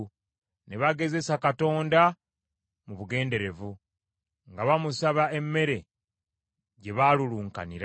Ne bagezesa Katonda mu bugenderevu, nga bamusaba emmere gye baalulunkanira.